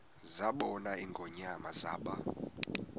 zabona ingonyama zaba